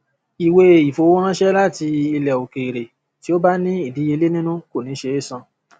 ìwé ìfowóránṣẹ láti ilẹ òkèèrè tí ó bá ní ìdíyelé nínú kò ní ṣe é san